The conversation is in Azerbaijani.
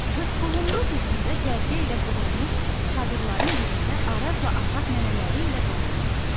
Qırxboğumlu düzündə cərgə ilə qurulmuş çadırların birində Arazla Afaq nənələri ilə qalırdı.